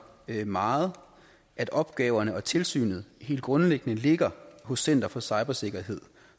meget at opgaverne og tilsynet helt grundlæggende ligger hos center for cybersikkerhed